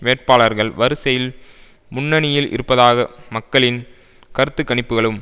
வேட்பாளர்கள் வரிசையில் முன்னணியில் இருப்பதாக மக்களின் கருத்துக்கணிப்புகளும்